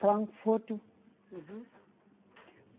Frankfurt. Uhum.